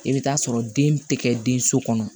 I bɛ t'a sɔrɔ den tɛ kɛ den so kɔnɔ